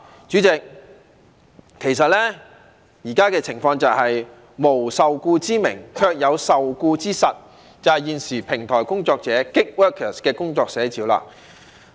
主席，其實現時的情況就是無受僱之名，卻有受僱之實，這就是現時平台工作者的工作寫照。